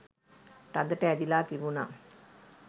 තදට ඇදිලා තිබුණා.